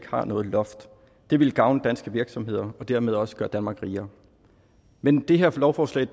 har noget loft det ville gavne danske virksomheder og dermed også gøre danmark rigere men det her lovforslag